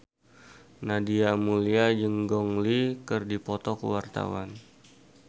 Nadia Mulya jeung Gong Li keur dipoto ku wartawan